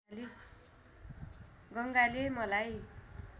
गङ्गाले मलाई